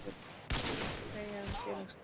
Svipað má segja um félagsslit.